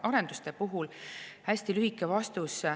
hästi lühike vastus.